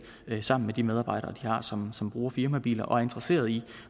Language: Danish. sammen med de medarbejdere de har som som bruger firmabiler og er interesserede i